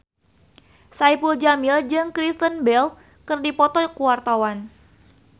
Saipul Jamil jeung Kristen Bell keur dipoto ku wartawan